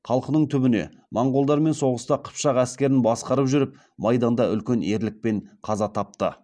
қалқының түбіне моңғолдармен соғыста қыпшақ әскерін басқарып жүріп майданда үлкен ерлікпен қаза тапты